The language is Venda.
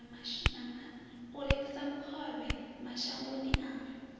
u rengisa khovhe mashangoni a